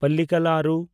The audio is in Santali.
ᱯᱟᱞᱞᱤᱠᱟᱞ ᱟᱨᱩ